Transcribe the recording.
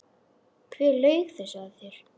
Hver laug þessu að þér?